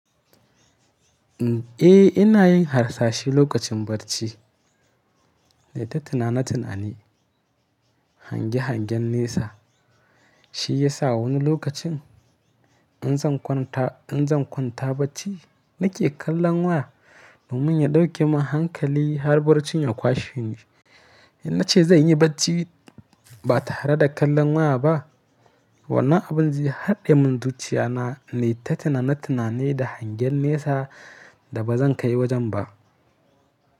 Eh ina yin harsashi lokacin barci. Nai ta tunani tunani hange-hangen nesa. Shi ya sa wani lokacin in zan kwanta bacci, nake kallon waya domin ya ɗauke min hankali har barcin ya kwashe ni. In na ce zan yi bacci ba tare da kallon waya ba, wannan abin zai haɗe min zuciya na yi ta tunanin da hangen nesa da ba zan kai wajen ba.